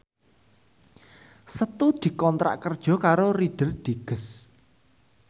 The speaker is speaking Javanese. Setu dikontrak kerja karo Reader Digest